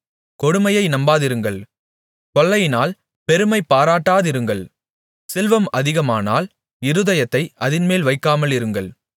கொடுமையை நம்பாதிருங்கள் கொள்ளையினால் பெருமைபாராட்டாதிருங்கள் செல்வம் அதிகமானால் இருதயத்தை அதின்மேல் வைக்காமலிருங்கள்